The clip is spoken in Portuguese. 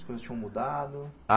As coisas tinham mudado?